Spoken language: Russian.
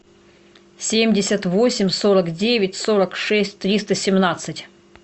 семьдесят восемь сорок девять сорок шесть триста семнадцать